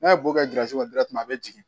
N'a ye bɔ kɛ kɔnɔ dɛrɛti a bɛ jigin